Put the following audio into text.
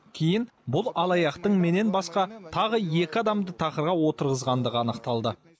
кейін бұл алаяқтың менен басқа тағы екі адамды тақырға отырғызғандығы анықталды